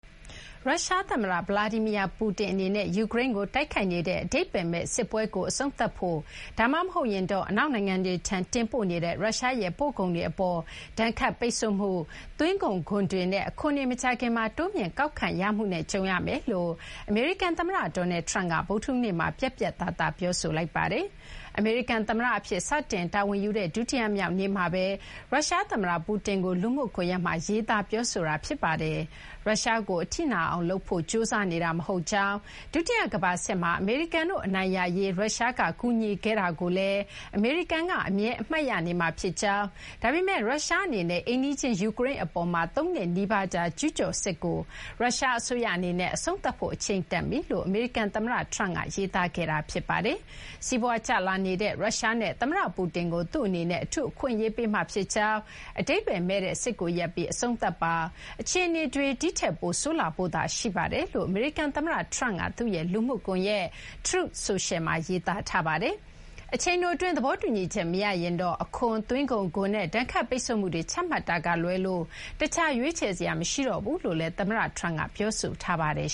ရုရှား သမ္မတ Vladimri Putin အနေနဲ့ ယူကရိန်းကို တိုက်ခိုက်နေတဲ့ အဓိပ္ပါယ်မဲ့ စစ်ပွဲကို အဆုံးသတ်ဖို့ ဒါမှမဟုတ်ရင်တော့ အနောက်နိုင်ငံတွေထံ တင်ပို့နေတဲ့ ရုရှားရဲ့ ပို့ကုန်တွေ အပေါ် ဒဏ်ခတ်ပိတ်ဆို့မှု၊ သွင်းကုန်ခွန်တွေနဲ့ အခွန်တွေ မကြာခင်မှာ တိုးမြှင့်ကောက်ခံရမှုနဲ့ ကြုံရမယ်လို့ အမေရိကန် သမ္မတ Donald Trump က ဗုဒ္ဓဟူးနေ့မှာ ပြတ်ပြတ်သားသား ပြောဆိုခဲ့ပါတယ်။ အမေရိကန် သမ္မတ အဖြစ် စတင်တာဝန်ယူတဲ့ ဒုတိယမြောက်နေ့မှာပဲ ရုရှား သမ္မတ Putin ကို လူမှုကွန်ရက်မှာ ရေးသား ပြောဆိုခဲ့တာ ဖြစ်ပါတယ်။ ရုရှားကို အထိနာအောင် လုပ်ဖို့ ကြိုးစားနေတာ မဟုတ်ကြောင်း၊ ဒုတိယ ကမ္ဘာစစ်မှာ အမေရိကန်တို့ အနိုင်ရရေး ရုရှားက ကူညီခဲ့တာကိုလည်း အမေရိကန်က အမြဲအမှတ်ရနေမှာ ဖြစ်ကြောင်း၊ ဒါပေမဲ့ ရုရှား အနေနဲ့ အိမ်နီးချင်း ယူကရိန်း အပေါ်မှာ သုံးနှစ်နီးပါးကြာ ကျူးကျော် စစ်ကို ရုရှား အစိုးရ အနေနဲ့ အဆုံးသတ်ဖို့ အချိန်တန်ပြီလို့ အမေရိကန် သမ္မတ Trump က ရေးသားခဲ့တာ ဖြစ်ပါတယ်။ စီးပွားကျလာနေတဲ့ ရုရှား နဲ့ သမ္မတ ပူတင်ကို သူ့အနေနဲ့ အထူး အခွင့်အရေးပေးမှာ ဖြစ်ကြောင်း၊ အဓိပ္ပါယ်မဲ့တဲ့ စစ်ကို ရပ်ပြီး အဆုံးသတ်ပါ၊ အခြေအနေတွေ ဒီထက်ပိုဆိုးလာဖို့သာ ရှိပါတယ်လို့ အမေရိကန် သမ္မတ Trump က သူ့ရဲ့ လူမှုကွန်ရက် Truth Social မှာ ရေးသားထားပါတယ်။ အချိန်တို အတွင်း သဘောတူညီချက် မရရင်တော့ အခွန်၊ သွင်းကုန်ခွန်နဲ့ ဒဏ်ခတ်ပိတ်ဆို့မှုတွေ ချမှတ်တာကလွဲလို့ တခြား ရွေးချယ်စရာ မရှိတော့ဘူးလို့လည်း သမ္မတ Trump က ပြောဆိုထားပါတယ်